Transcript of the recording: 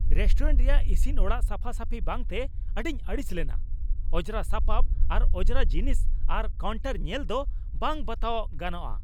Restaurant ᱨᱮᱭᱟᱜ ᱤᱥᱤᱱ ᱚᱲᱟᱜ ᱥᱟᱯᱷᱟᱼᱥᱟᱯᱷᱤ ᱵᱟᱝᱛᱮ ᱟᱹᱰᱤᱧ ᱟᱹᱲᱤᱥ ᱞᱮᱱᱟ ᱾ ᱚᱸᱡᱽᱨᱟ ᱥᱟᱯᱟᱯ ᱟᱨ ᱚᱸᱡᱽᱨᱟ ᱡᱤᱱᱤᱥ ᱟᱨ ᱠᱟᱣᱩᱱᱴᱟᱨ ᱧᱮᱞ ᱫᱚ ᱵᱟᱝ ᱵᱟᱛᱟᱣ ᱜᱟᱱᱚᱜᱼᱟ ᱾